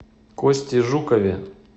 косте жукове